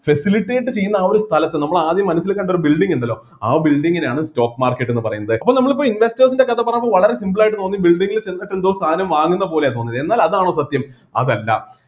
facilitate ചെയ്യുന്ന ആ ഒരു സ്ഥലത്ത് നമ്മള് ആദ്യം മനസ്സില് കണ്ട ആ ഒരു building ഉണ്ടല്ലോ ആ building നെയാണ് stock market എന്നുപറയുന്നത് അപ്പോ നമ്മള് ഇപ്പൊ investers ൻ്റെ കഥ പറഞ്ഞപ്പോൾ വളരെ simple ആയിട്ട് തോന്നി building ൽ ചെന്നിട്ട് എന്തോ സാധനം വാങ്ങുന്നപോലെയാ തോന്നിയത് എന്നാൽ അതാണോ സത്യം അതല്ല